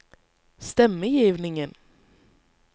stemmegivningen